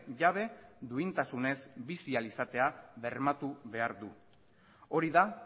jabe duintasunez bizi ahal izatea bermatu behar du hori da